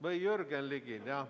Või Jürgen Ligil, jah.